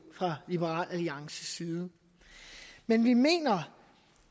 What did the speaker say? fra liberal alliances side men vi mener